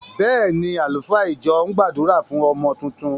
Bẹ́ẹ̀ ni, àlùfáà ìjọ ń gbàdúrà fún ọmọ tuntun.